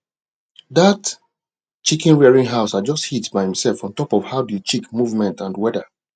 that chicken rearing house adjust heat by himself on top of how the chick movement and weather